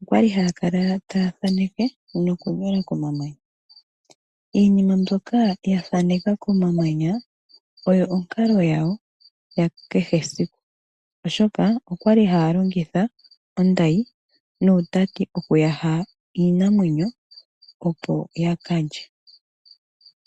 Okwali haya kala taya thaneke noku nyola komamanya . Iinima mbyoka ya thaneka komamanya oyo onkalo yawo ya kehe eaiku , oshoka okwali haya longitha ondayi nuutati oku yaha iinamwenyo opo yakalye.